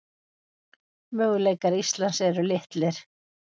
Möguleikar Íslands eru litlir